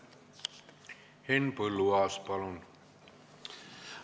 Henn Põlluaas, palun!